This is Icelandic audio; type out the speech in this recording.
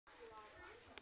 Á að hunsa það?